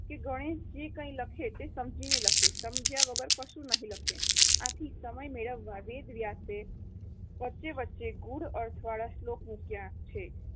ગણેશ જે કંઈ લખે તે સમજીને લખે, સમજ્યા વગર કશું નહિ લખે. આથી સમય મેળવવા વેદવ્યાસે વચ્ચે વચ્ચે ગૂઢ અર્થ વાળા શ્લોક મૂક્યા છે.